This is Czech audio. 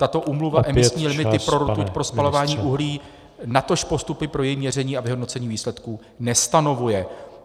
Tato úmluva emisní limity pro rtuť pro spalování uhlí, natož postupy pro její měření a vyhodnocení výsledků nestanovuje.